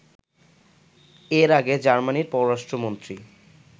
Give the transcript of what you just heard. এর আগে জার্মানির পররাষ্ট্রমন্ত্রী